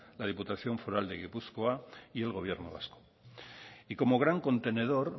la diputación foral de gipuzkoa y el gobierno vasco y como gran contenedor